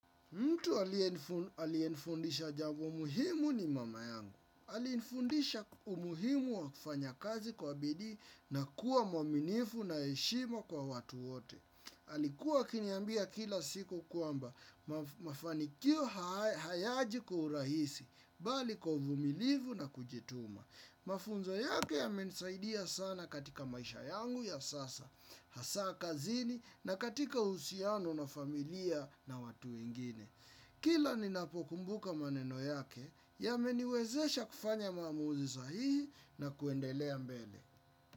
Mtu aliyenifundisha janmo muhimu ni mama yangu. Alinifundisha umuhimu wa kufanyakazi kwa bidii na kuwa mwaminifu na heshima kwa watu wote. Alikuwa akiniambia kila siku kwamba mafanikio hayaji kwa urahisi, bali kwa uvumilivu na kujituma. Mafunzo yake yamenisaidia sana katika maisha yangu ya sasa. Hasaa kazini na katika uhusiano na familia na watu ingine. Kila ninapokumbuka maneno yake yameniwezesha kufanya mamuuzi sahihi na kuendelea mbele.